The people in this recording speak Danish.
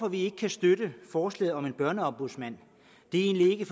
at vi ikke kan støtte forslaget om en børneombudsmand er ikke